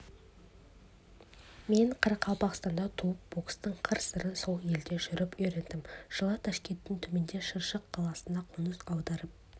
мен қарақалпақстанда туып бокстың қыр-сырын сол елде жүріп үйрендім жылы ташкенттің түбіндегі шыршық қаласына қоныс аударып